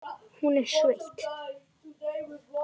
Hún er sveitt.